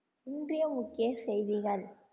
இன்றைய முக்கிய செய்திகள்